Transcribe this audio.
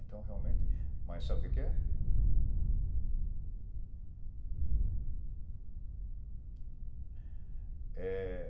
Então, realmente... Mas sabe o que que é?